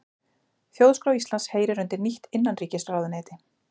Þjóðskrá Íslands heyrir undir nýtt innanríkisráðuneyti